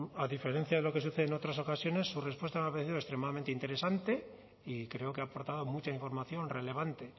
a diferencia de lo que sucede en otras ocasiones su respuesta me ha parecido extremadamente interesante y creo que aporta mucha información relevante